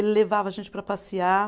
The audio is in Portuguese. Ele levava a gente para passear.